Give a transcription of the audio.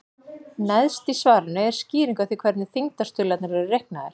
Neðst í svarinu er skýring á því hvernig þyngdarstuðlarnir eru reiknaðir.